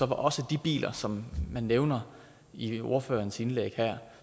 var også de biler som nævnes i ordførerens indlæg her